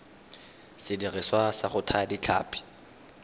sediriswa sa go thaya ditlhapi